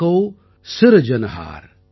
sub கா ஏகௌ சிர்ஜனஹார்